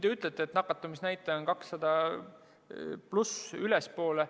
Te ütlete, et nakatumisnäitaja on 200‑st ülespoole.